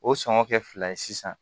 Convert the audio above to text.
O sɔngɔ kɛ fila ye sisan